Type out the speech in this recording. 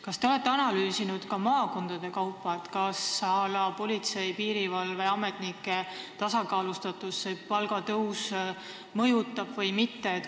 Kas te olete analüüsinud ka maakondade kaupa, kas politsei- ja piirivalveametnike palkade tasakaalustatust see palgatõus mõjutab või mitte?